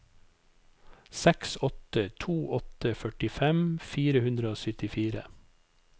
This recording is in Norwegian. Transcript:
seks åtte to åtte førtifem fire hundre og syttifire